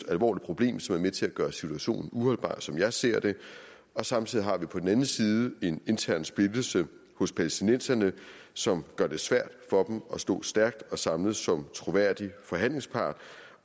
alvorligt problem som er med til at gøre situationen uholdbar som jeg ser det samtidig har vi på den anden side en intern splittelse hos palæstinenserne som gør det svært for dem at stå stærkt og samlet som troværdig forhandlingspart